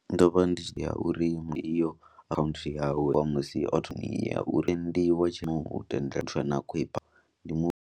Ndo vha ndi tshi dzhiya uri iyo akhaunthu yawe musi option ya uri ndi wa .